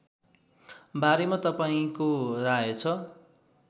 बारेमा तपाईँको राय छ